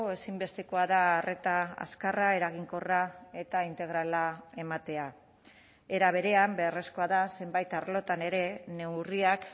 ezinbestekoa da arreta azkarra eraginkorra eta integrala ematea era berean beharrezkoa da zenbait arlotan ere neurriak